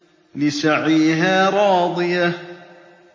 لِّسَعْيِهَا رَاضِيَةٌ